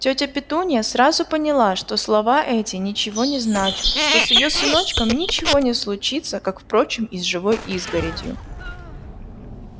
тётя петунья сразу поняла что слова эти ничего не значат что с её сыночком ничего не случится как впрочем и с живой изгородью